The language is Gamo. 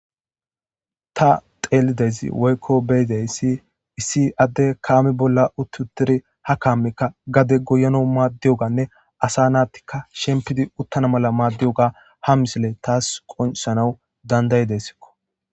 ta xeelidezi woykko beyidey si issi adde kaami bolla uttutiri ha kaammikka gade goyono maaddiyoganne asa naattikka shempidi uttana mala maaddiyoga ha misile taas qonsanau dandayi desikko